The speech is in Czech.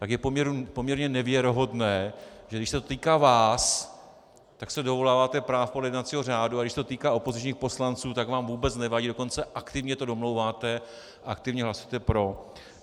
Tak je poměrně nevěrohodné, že když se to týká vás, tak se dovoláváte práv podle jednacího řádu, a když se to týká opozičních poslanců, tak vám vůbec nevadí, dokonce aktivně to domlouváte, aktivně hlasujete pro.